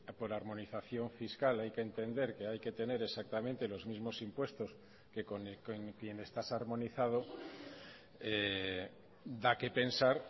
por armonización fiscal hay que entender que hay que tener exactamente los mismos impuestos que con quien estás armonizado da qué pensar